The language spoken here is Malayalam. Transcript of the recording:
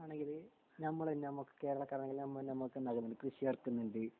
ആണെങ്കില് നമ്മൾ ഞമ്മക് കേരളം ഞമ്മ ഞമ്മക്ക് എന്താക്ക്ന്ന് കൃഷിയെർക്കുന്നുണ്ട്